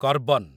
carbon